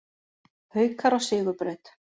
Haukar á sigurbraut